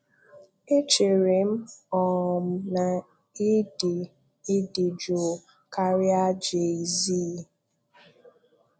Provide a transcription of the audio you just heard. Echerem um na ị dị ị dị jụụ karịa Jay-z.